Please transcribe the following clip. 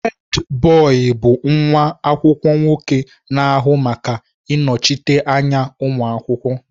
Hèdbọyi bụ nwa akwụkwọ nwoke na-ahụ maka ịnọchite anya ụmụ akwụkwọ.